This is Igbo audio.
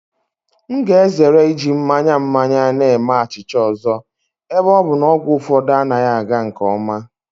M ga-ezere iji mmanya mmanya na-eme achịcha ọzọ ebe ọ bụ na ọgwụ ụfọdụ anaghị aga nke ọma.